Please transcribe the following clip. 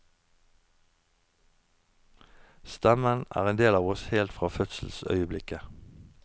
Stemmen er en del av oss helt fra fødselsøyeblikket.